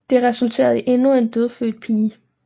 Det resulterede i endnu en dødfødt pige